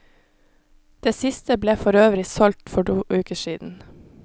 Det siste ble forøvrig solgt for to uker siden.